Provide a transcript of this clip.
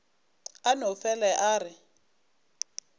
a no fele a re